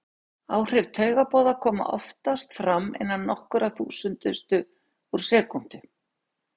Áhrif taugaboða koma oftast fram innan nokkurra þúsundustu úr sekúndu.